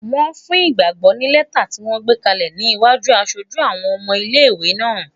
Wọ́n fún Ìgbàgbọ́ ní lẹ́tà ti yóò gbé kalẹ̀ ní iwájú aṣojú àwọn ọmọ ilé-ìwé náà